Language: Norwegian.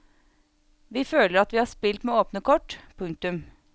Vi føler at vi har spilt med åpne kort. punktum